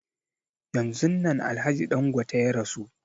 Yanzun nan alhaji Dangote ya rasu